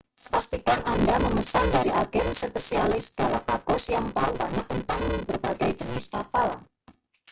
pastikan anda memesan dari agen spesialis galapagos yang tahu banyak tentang berbagai jenis kapal